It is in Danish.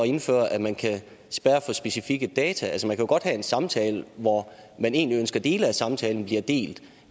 indføre at man kan spærre for specifikke data altså man kan jo godt have en samtale hvor man egentlig ønsker at dele af samtalen bliver delt